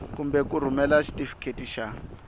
kumbe ku rhumela xitifiketi xa